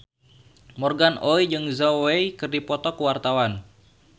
Morgan Oey jeung Zhao Wei keur dipoto ku wartawan